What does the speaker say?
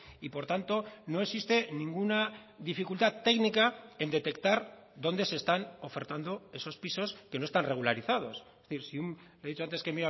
y por tanto no existe ninguna dificultad técnica en detectar dónde se están ofertando esos pisos que no están regularizados es decir he dicho antes que